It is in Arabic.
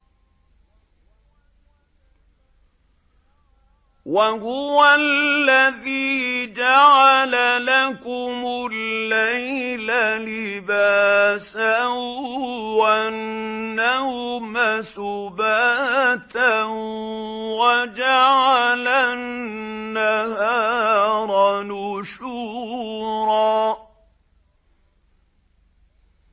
وَهُوَ الَّذِي جَعَلَ لَكُمُ اللَّيْلَ لِبَاسًا وَالنَّوْمَ سُبَاتًا وَجَعَلَ النَّهَارَ نُشُورًا